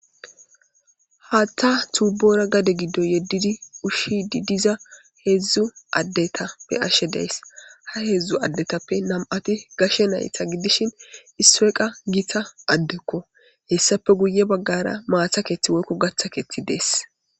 Haatta tuubora gade giddo yeddidi ushshi di diza heedzdzu addetappe ashe dees ha heedzdzu addetappe nam7ati gashe nayta giddishin isreeqa giita addekko hessape guye baggara maatha keeththi woykko gaththa keethi dees.